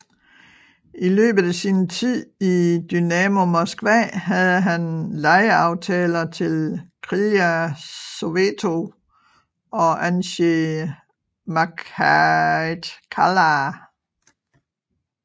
I løbet af sin tid i Dynamo Moskva havde han lejeaftaler til Krilja Sovetov og Ansji Makhatjkala